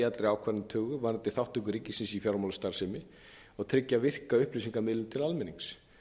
að tryggja gagnsæi í allri ákvarðanatöku varðandi þátttöku ríkisins í fjármálastarfsemi og tryggja virka upplýsingamiðlun til almennings